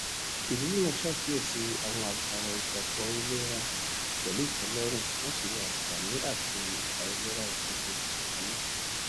ìdílé náà ṣàkíyèsí àwọn àṣàyàn ìgbàgbọ ilé wọn pẹlú ìtẹlọrùn wọn sì wò àǹfààní àti àìlera ìtúnṣe tuntun náà